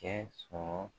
Kɛ sɔrɔ